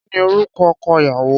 Kí ni orúkọ ọkọ ìyàwó?